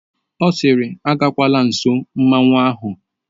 Ọ siiri agakwala nsọ mmanwụ ahụ!